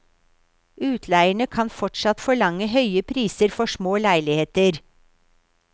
Utleierne kan fortsatt forlange høye priser for små leiligheter.